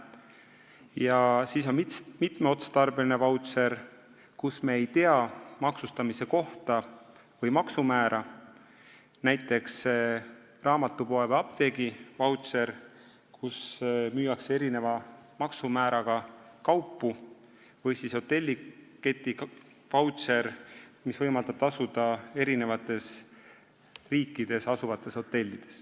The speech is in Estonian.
Ja siis on mitmeotstarbeline vautšer, mis kehtib näiteks raamatupoes või apteegis, kus müüakse erineva maksumääraga kaupu, st me ei tea maksustamise kohta või maksumäära, samuti hotelliketi vautšer, mis võimaldab tasuda eri riikides asuvates hotellides.